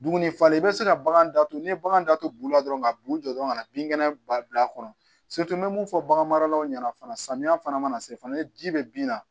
Dumuni falen i be se ka bagan datugu n'i ye bagan da to bulu la dɔrɔn ka b'u jɔ dɔrɔn ka na bin kɛnɛ ba bil'a kɔnɔ n be mun fɔ bagan maralaw ɲɛna fana samiya fana mana se fana ni ji bɛ bin na